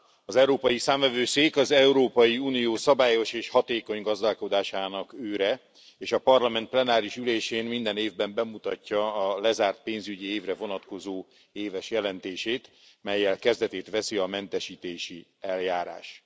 Az Európai Számvevőszék az Európai Unió szabályos és hatékony gazdálkodásának őre és a Parlament plenáris ülésén minden évben bemutatja a lezárt pénzügyi évre vonatkozó éves jelentését, mellyel kezdetét veszi a mentesítési eljárás.